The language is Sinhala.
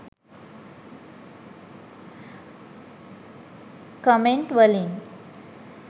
කමෙන්ට් වලින්.